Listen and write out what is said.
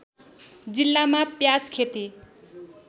जिल्लामा प्याज खेती